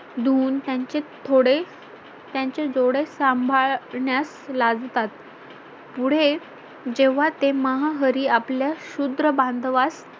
धूऊन त्यांचे थोडे त्यांची जोडे सांभाळण्यास लाजतात पुढे जेव्हा ते महा हरी आपल्या शुद्र बांधवास